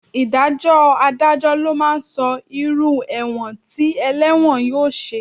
Ìdájọ́ Adájọ́ ló máa sọ irú ẹ̀wọ̀n tí ẹlẹ́wọ̀n yóò ṣe